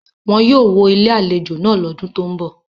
Wọn yóò wó Ilé-àlejò náà lọ́dún tó ń bọ̀.